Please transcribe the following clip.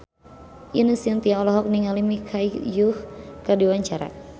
Ine Shintya olohok ningali Michelle Yeoh keur diwawancara